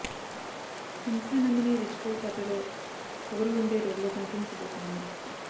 Hamsa Nandini rich girl పాత్రలో పొగరు వుండే రోల్ లో కనిపించబోతుంది